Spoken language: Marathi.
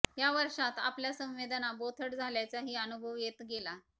या वर्षांत आपल्या संवेदना बोथट झाल्याचाही अनुभव येत गेला